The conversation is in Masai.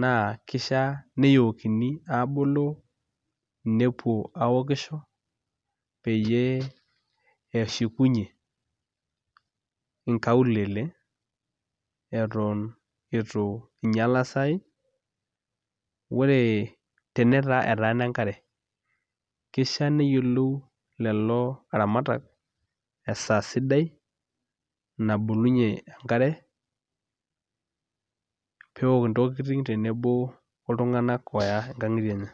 naa kishiaa neyookini aaboloo nepuo aokisho peyie eshukunyie nkaulele eto itu inyiala isaai ore tenetaa etaana enkare kishia neyiolou lelo aramatak esaa sidai nabolunyie enkare pee eok intokitin tenebo oltung'anak ooya nkang'itie enye.